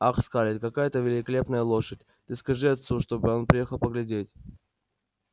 ах скарлетт какая это великолепная лошадь ты скажи отцу чтобы он приехал поглядеть